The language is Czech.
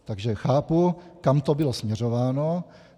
Takže chápu, kam to bylo směřováno.